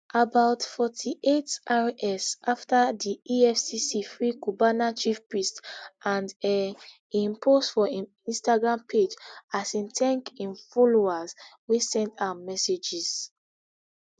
about forty-eightrs afta di efcc free cubana chief priest and um im post for im instagram page as im thank im followers wey send am messages